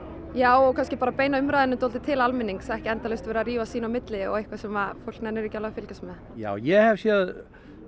já og kannski bara beina umræðunni til almennings ekki endalaust vera að rífast sín á milli og eitthvað sem fólk nennir ekki að fylgjast með já ég hef séð